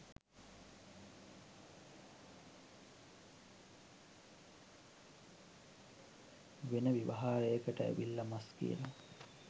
වෙන ව්‍යවහාරයකට ඇවිල්ල මස් කියල